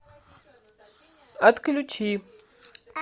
отключи